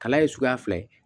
Kala ye suguya fila ye